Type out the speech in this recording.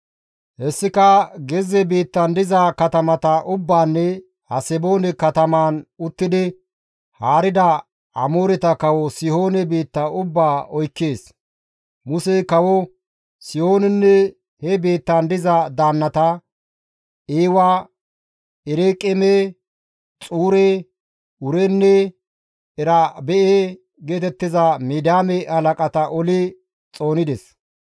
Hessika gezze biittan diza katamata ubbaanne Haseboone katamaan uttidi haarida Amooreta kawo Sihoone biitta ubbaa oykkees. Musey kawo Sihoonenne he biittan diza daannata, Eewa, Ereqeeme, Xuure, Uurenne Ereba7e geetettiza Midiyaame halaqata oli xoonides.